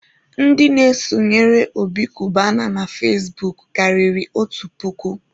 Ndị na-esonyere Obi Kubana na fezbuk karịrị otu puku.